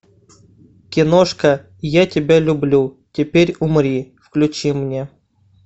киношка я тебя люблю теперь умри включи мне